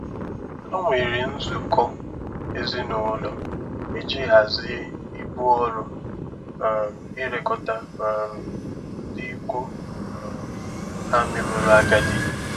Ha nwere nzukọ ezinụlọ iji hazie ibu ọrụ um ilekọta um ndị ikwu um ha meworo agadi.